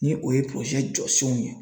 Ni o ye jɔsenw ye.